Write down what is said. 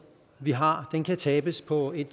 vi har kan tabes på en